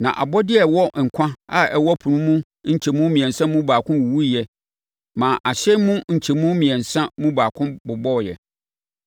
Na abɔdeɛ a ɛwɔ nkwa a ɛwɔ ɛpo no mu nkyɛmu mmiɛnsa mu baako wuwuiɛ maa ahyɛn mu nkyɛmu mmiɛnsa mu baako bobɔeɛ.